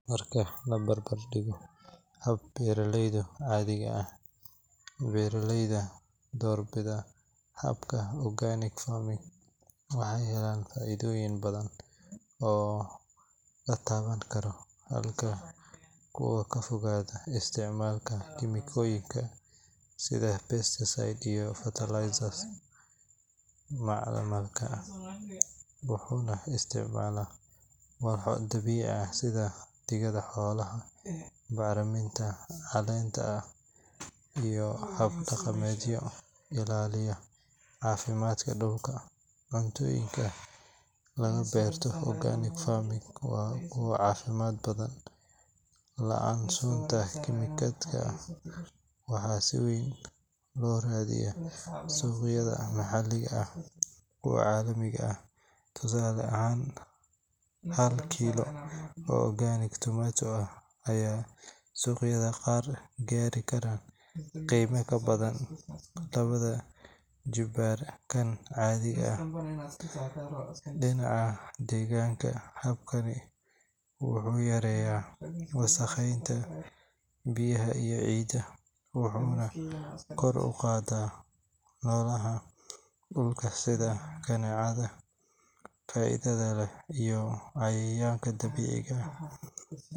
Marka la barbar dhigo hab-beeraleyda caadiga ah, beeraleyda doorbida habka organic farming waxay helaan faa'iidooyin badan oo la taaban karo. Habkan wuxuu ka fogaadaa isticmaalka kiimikooyinka sida pesticides iyo fertilizers-ka macmalka ah, wuxuuna isticmaalaa walxo dabiici ah sida digada xoolaha, bacriminta caleenta ah iyo hab-dhaqameedyo ilaalinaya caafimaadka dhulka. Cuntooyinka laga beerto organic farming waa kuwo caafimaad badan, la'aan sunta kiimikaadka, waxaana si weyn loo raadiyaa suuqyada maxalliga iyo kuwa caalamiga ah. Tusaale ahaan, hal kiilo oo organic tomato ah ayaa suuqyada qaar gaari kara qiime ka badan laba jibbaar kan caadiga ah. Dhinaca deegaanka, habkani wuxuu yareeyaa wasakheynta biyaha iyo ciidda, wuxuuna kor u qaadaa noolaha dhulka sida kaneecada faa'iidada leh iyo cayayaanka dabiiciga ah.